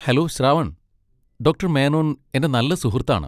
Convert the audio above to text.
Hello, Shravan! Doctor Menon എന്റെ നല്ല സുഹൃത്താണ്.